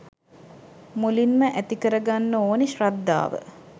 මුලින්ම ඇතිකරගන්න ඕනෙ ශ්‍රද්ධාව